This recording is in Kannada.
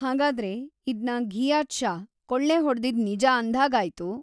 ಹಾಗಾದ್ರೆ, ಇದ್ನ ಘೀಯಾತ್‌ ಷಾ ಕೊಳ್ಳೆ ಹೊಡ್ದಿದ್ದು ನಿಜ ಅಂದ್ಹಾಗಾಯ್ತು.